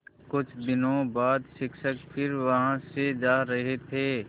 कुछ दिनों बाद शिक्षक फिर वहाँ से जा रहे थे